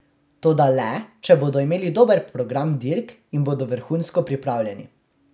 Toda le, če bodo imeli dober program dirk in bodo vrhunsko pripravljeni.